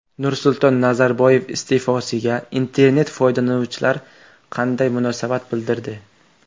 Nursulton Nazarboyev iste’fosiga internet foydalanuvchilar qanday munosabat bildirdi?.